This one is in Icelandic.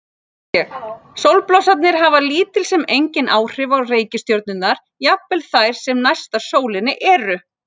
Sólblossarnir hafa lítil sem engin áhrif á reikistjörnurnar, jafnvel þær sem næstar sólinni eru.